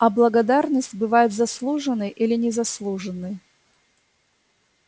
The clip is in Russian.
а благодарность бывает заслуженной или незаслуженной